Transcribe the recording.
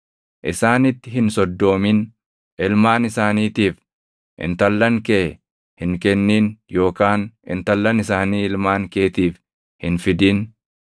Isaanitti hin soddoomin; ilmaan isaaniitiif intallan kee hin kennin yookaan intallan isaanii ilmaan keetiif hin fidin;